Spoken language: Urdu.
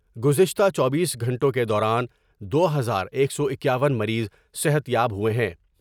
گزشتہ چوبیس گھنٹوں کے دوران دو ہزار ایک سو اکیاون مریض صحت یاب ہوۓ ہیں ۔